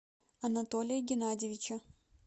анатолия геннадьевича